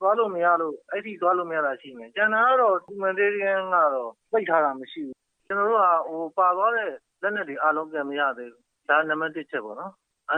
သွားလို့မရလို့ အဲ့ဒီ့အထိ သွားလို့မရတာ ရှိမယ်။ ကျန်တာကတော့ humanitarian ကတော့ ပိတ်ထားတာ မရှိဘူး။ ကျနော်တို့က ပါသွားတဲ့လက်နက်တွေ အားလုံး ပြန်မရသေးဘူး။ ဒါက နံပတ်တစ် အချက်ပေါ့။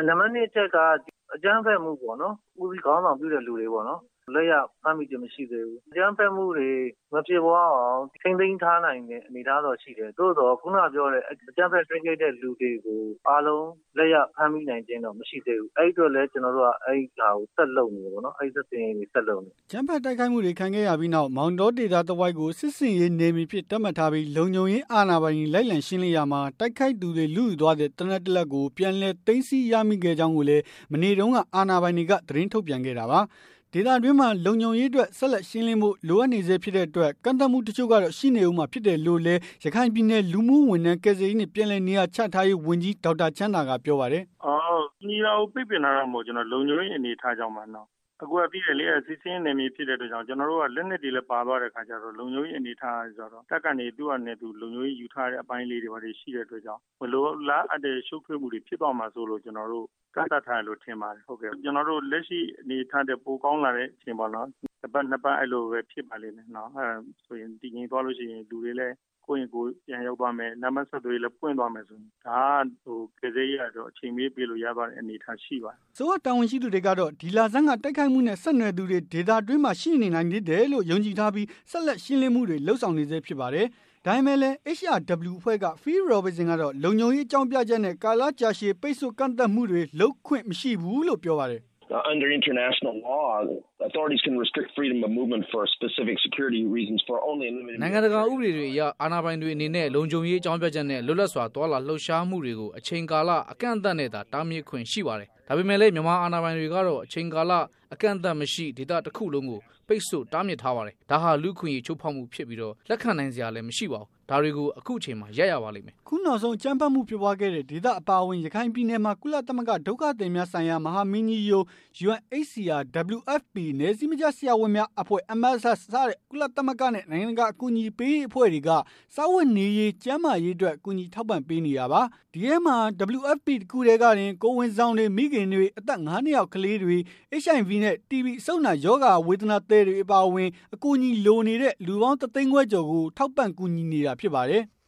နံပတ် ၂အချက်က ဒီအကြမ်းဖက်မှုပေါ့နော် ဦးစီးခေါင်းဆောင်မှုပြုတဲ့သူတွေပေါ့နော် အဲ့တာတွေကို ကျနော်တို့ လက်ရဖမ်းမိခြင်း မရှိသေးဘူး။ အကြမ်းဖက်မှုတွေ မဖြစ်ပွားရအောင် ထိန်းသိမ်းထားနိုင်တဲ့ အနေအထားတော့ရှိတယ်။ သို့သော်ခုနကပြောတဲ့ အကြမ်းဖက် တိုက်ခိုက်တဲ့သူတွေကို အားလုံးလက်ရဖမ်းမိနိုင်ခြင်းတော့ မရှိသေးဘူး။ အဲ့ဒီ့အတွက်လည်း ကျနော်တို့က အဲ့ဒီ့ဟာကို ဆက်လုပ်နေတယ်ပေါ့နော်။ စစ်ဆင်ရေးတွေ ဆက်လုပ်နေတယ်ပေါ့နော်။" အကြမ်းဖက် တိုက်ခိုက်မှုတွေ ခံခဲ့ရပြီးနောက်၊ မောင်တော ဒေသတဝိုက်ကို စစ်ဆင်ရေးနယ်မြေအဖြစ် သတ်မှတ်ထားပြီး လုံခြုံရေးအာဏာပိုင်တွေ လိုက်လံရှင်းလင်းရာမှာ တိုက်ခိုက်သူတွေ လုယူသွားတဲ့ သေနတ် တလက်ကို ပြန်လည် သိမ်းဆည်း ရမိခဲ့ကြောင်းလည်း မနေ့တုန်းကပဲ အာဏာပိုင်တွေက သတင်းထုတ်ပြန်ခဲ့တာပါ။ ဒေသတွင်းမှာ လုံခြုံရေးအတွက် ဆက်လက် ရှင်းလင်းဖို့ လိုအပ်နေဆဲ ဖြစ်တဲ့ အတွက် ကန့်သတ်မှုတချို့ကတော့ ရှိနေဦးမှာ ဖြစ်တယ်လို့လည်း ရခိုင်ပြည်နယ် လူမှုဝန်ထမ်း ကယ်ဆယ်ရေးနဲ့ ပြန်လည်နေရာချထားရေးဝန်ကြီး ဒေါက်တာချမ်းသာ က ပြောပါတယ်။ " ကူညီတာကို ပိတ်ပင်တာတော့ မဟုတ်ပါဘူး။ လုံခြုံရေး အနေအထားအရ ကြောင့်ပါ။ အခုက သိတဲ့အတိုင်းပဲ စစ်ဆင်ရေး နယ်မြေဖြစ်တဲ့ အတွက် ကျျနော်တို့က လက်နက်တွေလည်း ပါသွားတဲ့အခါကျတော့ လုံခြုံရေးအနေအထားက တပ်က လုံခြုံရေးယူထားတဲ့အပိုင်းတွေရှိတဲ့အတွက်ကြောင့် မလိုလားအပ်တဲ့ ရှုပ်ထွေးမှုတွေ ဖြစ်သွားမှာစိုးလို့ ကျနော်တို့ ကန့်သတ်ထားတယ်လို့ ထင်ပါတယ်။ ကျနော်တို့ လက်ရှိအနေအထားထက် ပိုကောင်းလာတဲ့ အနေအထားမှာတော့ ကျနော်ထင်ပါတယ် တပတ်၊ နှစ်ပတ်လောက်မှာ တည်ငြိမ်သွားလို့ရှိရင် လူတွေလည်း ကိုယ့်အိမ်ကိုယ်ပြန်ရောက်သွားမယ်။ လမ်းပမ်းဆက်သွယ်ရေးလည်း ပွင့်သွားမယ်ဆိုရင် ဒါက ကယ်ဆယ်ရေးက အချိန်မရွေးပေးလို့ရတဲ့အနေအထားမျိုး ရှိပါတယ်။" အစိုးရတာဝန်ရှိသူတွေ ကတော့ ဒီလဆန်းက တိုက်ခိုက်မှုနဲ့ ဆက်နွယ်သူတွေ ဒေသတွင်းမှာ ရှိနေနိုင်သေးတယ်လို့ ယုံကြည်ထားပြီး ဆက်လက် ရှင်းလင်းမှုတွေ လုပ်ဆောင်နေဆဲ ဖြစ်ပါတယ်။ ဒါပေမဲ့လည်း HRW အဖွဲ့က Phil Robertson ကတော့ လုံခြုံရေးအကြောင်းပြချက်နဲ့ ကာလကြာရှည် ပိတ်ဆို့ကန့်သတ်မှုတွေ လုပ်ခွင့်မရှိဘူးလို့ ပြောပါတယ်။ “နိုင်ငံတကာ ဥပဒေတွေအရ၊ အာဏာပိုင်တွေအနေနဲ့ လုံခြုံရေးအကြောင်းပြချက်နဲ့ လွတ်လပ်စွာသွားလာလှုပ်ရှားမှုတွေကို အချိန်ကာလ အကန့်အသတ်နဲ့သာ တားမြစ်ခွင့်ရှိပါတယ်။ ဒါပေမဲ့လည်း မြန်မာအာဏာပိုင်တွေကတော့ အချိန်ကာလ အကန့်အသတ်မရှိ ဒေသတခုလုံးကို ပိတ်ဆို့တားမြစ်ထားပါတယ်။ ဒါဟာလူ့အခွင့်အရေး ချိုးဖောက်မှုဖြစ်ပြီး၊ လက်ခံနိုင်စရာလည်း မရှိပါဘူး။ ဒါတွေကို အခုအချိန်မှာ ရပ်ရပါလိမ့်မယ်။” အခုနောက်ဆုံး အကြမ်းဖက်မှုဖြစ်ပွားခဲ့တဲ့ ဒေသတွေအပါအဝင် ရခိုင်ပြည်နယ်မှာ ကုလသမဂ္ဂ ဒုက္ခသည်များဆိုင်ရာ မဟာမင်းကြီးရုံး, WFP နယ်စည်းမခြားဆရာဝန်များအဖွဲ့ MSF စတဲ့ ကုလသမဂ္ဂနဲ့ နိုင်ငံတကာ အကူအညီပေးရေး အဖွဲ့တွေက စားဝတ်နေရေး၊ ကျန်းမာရေးအတွက် ကူညီထောက်ပံ့ပေးနေတာပါ။ ဒီအထဲမှာ WFP တခုတည်းကတင် ကိုယ်ဝန်ဆောင်တွေ၊ မိခင်တွေ၊ အသက် ၅ နှစ်အောက် ကလေးတွေ၊ HIV နဲ့ တီဘီအဆုပ်နာရောဂါ ဝေဒနာသည်တွေ အပါအဝင် အကူအညီလိုနေတဲ့ လူပေါင်း တသိန်းခွဲကျော်ကို ထောက်ပံ့ကူညီနေတာ ဖြစ်ပါတယ်။